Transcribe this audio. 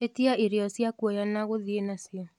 ĩtĩaĩrĩo cĩa kũoya na guthii nacio